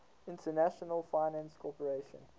international finance corporation